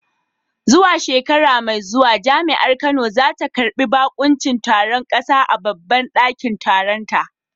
Zuwa shekara mai zuwa Jami’ar Kano za ta karbi bakuncin taron kasa a babban dakin taronta.